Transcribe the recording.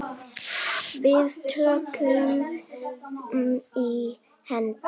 Við tökumst í hendur.